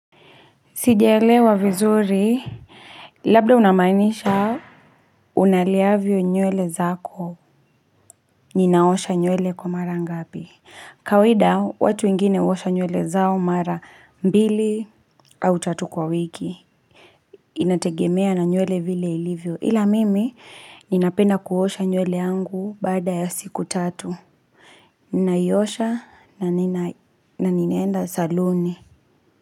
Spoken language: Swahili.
Sijaelewa vizuri. Labda unamaanisha unaleavyo nywele zako. Ninaosha nywele kwa mara ngapi. Kawaida watu wengine uosha nywele zao mara mbili au tatu kwa wiki. Inategemea na nyuele vile ilivyo. Ila mimi ninapenda kuosha nywele yangu baada ya siku tatu. Ninaiosha na nina na ninaenda saluni.